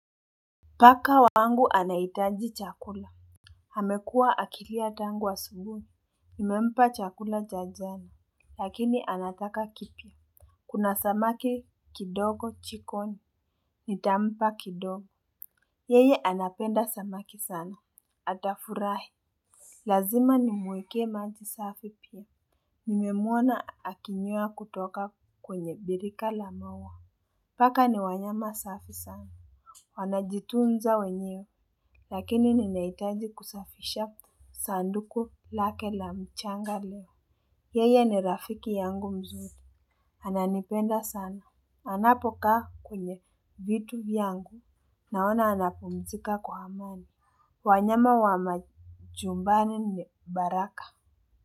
Paka wangu anaitaji chakula hamekua akilia tangu asubui nimempa chakula cha jana lakini anataka kipya kuna samaki kidogo chikoni nitampa kidogo yeye anapenda samaki sana atafurahi lazima nimweke maji safi pia nimemuona akinywea kutoka kwenye birika lamaua paka ni wanyama safi sana wanajitunza wenyewe. Lakini ninaitaji kusafisha sanduku lake la mchanga leo. Yeye ni rafiki yangu mzuri. Ananipenda sana. Anapokaa kwenye vitu vyangu. Naona anapumzika kwa amani. Wanyama wa majumbani ni baraka.